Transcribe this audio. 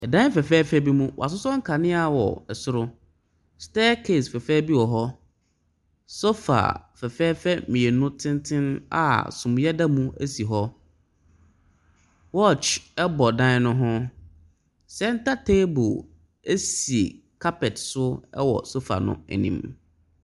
Ɛdan fɛfɛɛfɛ bi mu. W'asosɔ nkanea wɔ ɛsoro. Stɛkase fɛfɛ bi wɔhɔ. Sofa fɛfɛɛfɛ mmienu tenten a suniɛ da mu esi hɔ. Wɔkye ɛbɔ dan no ho. Sɛnta teebol esi kapɛt so ɛwɔ sofa no anim.